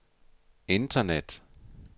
internet